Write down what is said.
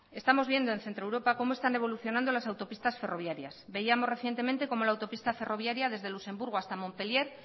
estamos viendo en centro europa cómo están evolucionando las autopistas ferroviarias veíamos recientemente como la autopista ferroviaria desde luxemburgo hasta montpellier